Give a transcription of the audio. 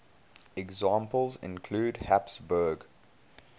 examples include habsburg